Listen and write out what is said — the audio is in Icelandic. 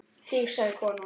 Þig sagði konan.